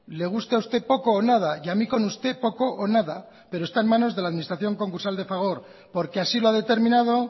le guste a usted poco o nada y a mí con usted poco o nada pero está en manos de la administración concursal de fagor porque así lo ha determinado